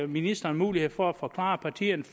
ministeren mulighed for at forklare partierne